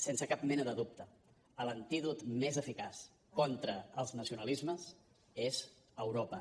sense cap mena de dubte l’antídot més eficaç contra els nacionalismes és europa